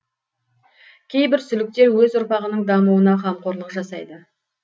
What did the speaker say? кейбір сүліктер өз ұрпағының дамуына камқорлык жасайды